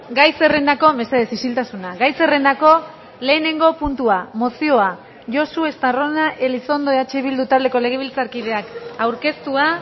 gai zerrendako mesedez isiltasuna gai zerrendako lehenengo puntua mozioa josu estarrona elizondo eh bildu taldeko legebiltzarkideak aurkeztua